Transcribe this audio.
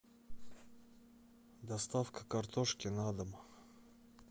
доставка картошки на дом